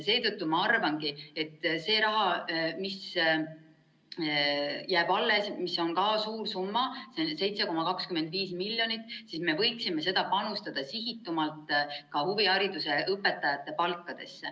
Seetõttu ma arvangi, et seda raha, mis jääb alles, mis on ka suur summa, 7,25 miljonit, me võiksime kasutada rohkem ka huvihariduse õpetajate palkadeks.